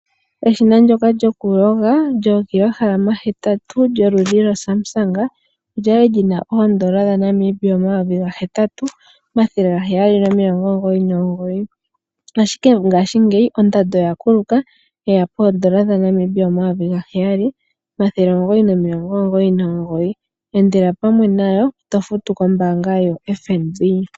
Eshina ndyoka lyokuyoga lyookilohalama hetatu lyoludhi lwoSamsung olyali lyina oodola dha Namibia omayovi gahetatu, omathele gaheyali nomilongo omugoyi nomugoyi ashike mongashingeyi ondando oyakuluka yeya poodola dha Namibia omayovi gaheyali, omathele omugoyi nomilongo omugoyi nomugoyi, endela pamwe nayo to futu kombaanga yoFNB.